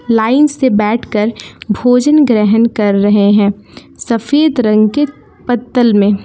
line से बैठकर भोजन ग्रहण कर रहे है सफेद रंग के पत्तल मे--